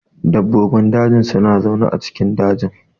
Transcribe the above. Dabbobin daji suna zaune a cikin dajin.